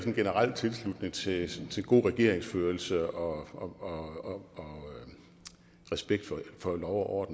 en generel tilslutning til til god regeringsførelse og respekt for lov og